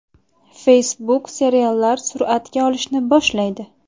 Facebook seriallar suratga olishni boshlaydi.